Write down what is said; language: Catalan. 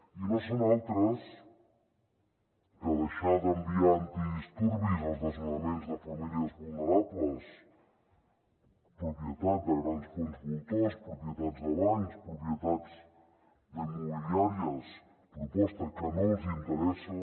i no són altres que deixar d’enviar antidisturbis als desnonaments de famílies vulnerables propietats de grans fons voltors propietats de bancs propietats immobiliàries proposta que no els interessa